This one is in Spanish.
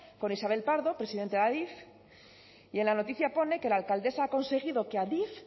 con isabel pardo presidenta de adif y en la noticia pone que la alcaldesa ha conseguido que adif